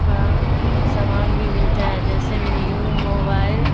का सामान भी मिलता है जैसे में न्यू मोबाइल --